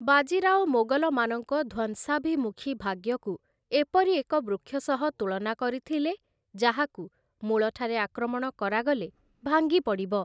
ବାଜି ରାଓ ମୋଗଲମାନଙ୍କ ଧ୍ୱଂସାଭିମୁଖୀ ଭାଗ୍ୟକୁ ଏପରି ଏକ ବୃକ୍ଷ ସହ ତୁଳନା କରିଥିଲେ ଯାହାକୁ ମୂଳଠାରେ ଆକ୍ରମଣ କରାଗଲେ ଭାଙ୍ଗି ପଡ଼ିବ ।